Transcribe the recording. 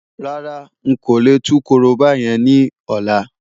Rárá, n kò lè tú korobá yẹn ní ọ̀la.